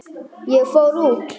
Ég fór út.